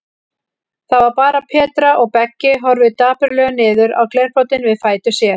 Það var bara Petra, og Beggi horfir dapurlega niður á glerbrotin við fætur sér.